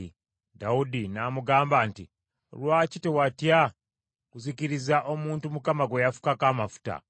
Dawudi n’amugamba nti, “Lwaki tewatya kuzikiriza omuntu Mukama gwe yafukako amafuta?”